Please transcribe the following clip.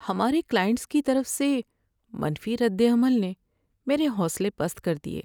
ہمارے کلائنٹس کی طرف سے منفی رد عمل نے میرے حوصلے پست کر دیے۔